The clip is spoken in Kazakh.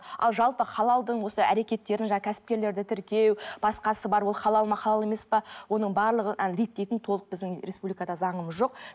ал жалпы халалдың осы әрекеттерін жаңағы кәсіпкерлерді тіркеу басқасы бар ол халал ма халал емес пе оның барлығын әлі реттейтін толық біздің республикада заңымыз жоқ